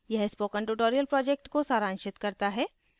यह spoken tutorial को सारांशित करता है